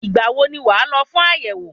Ìgbà wo ni wàá lọ fún àyẹ̀wò?